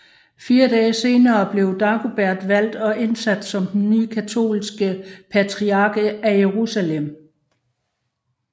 Fire dage senere blev Dagobert valgt og indsat som den nye katolske patriark af Jerusalem